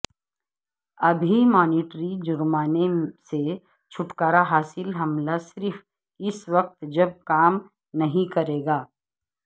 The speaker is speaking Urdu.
ابھی مانیٹری جرمانے سے چھٹکارا حاصل حملہ صرف اس وقت جب کام نہیں کرے گا